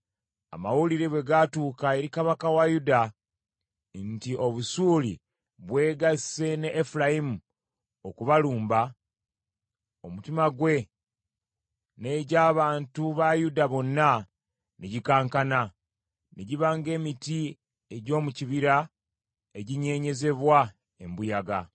Amawulire bwe gatuuka eri Kabaka wa Yuda nti, “Obusuuli bwegasse ne Efulayimu okubalumba”; omutima gwe n’egy’abantu ba Yuda bonna ne gikankana, ne giba ng’emiti egy’omu kibira eginyeenyezebwa embuyaga.